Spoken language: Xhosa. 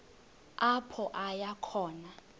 apho aya khona